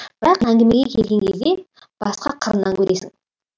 бірақ әңгімеге келген кезде басқа қырынан көресің